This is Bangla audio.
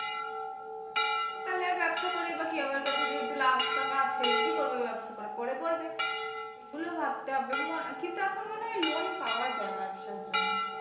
সেটাই ব্যবসা করেই বা কি হবে আমার কাছে যেহেতু লাখ টাকা আছেই কি করবে ব্যবসা করে পরে করবে এগুলো ভাবতে হবে কিন্তু এখন মনে হয় loan পাওয়া যায় ব্যবসার জন্য।